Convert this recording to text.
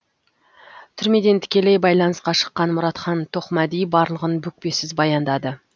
түрмеден тікелей байланысқа шыққан мұратхан тоқмәди барлығын бүкпесіз баяндады